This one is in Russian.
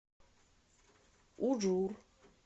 ужур